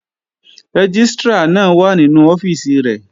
Rẹ́gístrà náà wà nínú ọ́fíìsì rẹ̀